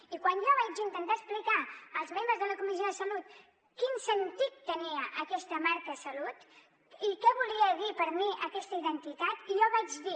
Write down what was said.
i quan jo vaig intentar explicar als membres de la comissió de salut quin sentit tenia aquesta marca salut i què volia dir per mi aquesta identitat jo vaig dir